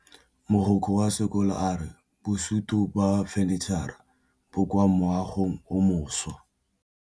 Mogokgo wa sekolo a re bosutô ba fanitšhara bo kwa moagong o mošwa.